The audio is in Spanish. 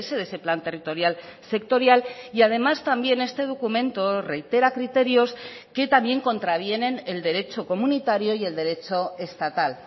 de ese plan territorial sectorial y además también este documento reitera criterios que también contravienen el derecho comunitario y el derecho estatal